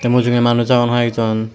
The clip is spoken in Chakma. te mujunge manuj agon hoi ek jon.